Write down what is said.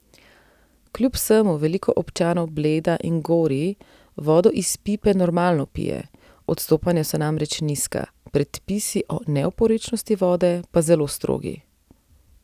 Kljub vsemu veliko občanov Bleda in Gorij vodo iz pipe normalno pije, odstopanja so namreč nizka, predpisi o neoporečnosti vode pa zelo strogi.